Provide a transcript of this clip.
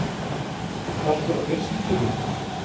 Höskuldur: Partur af fjölskyldunni?